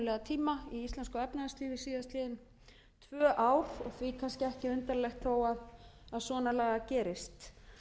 tíma í íslensku efnahagslífi síðastliðin tvö ár og því kannski ekki undarlegt þó svona lagað gerist